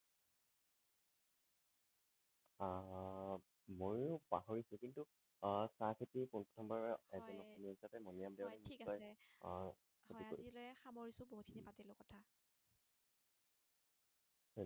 আহ মইও পাহিৰিছো কিন্তু আহ চাহ খেতি প্ৰথম বাৰ হয় মণিৰাম দেৱানে হয় ঠিক আছে আহ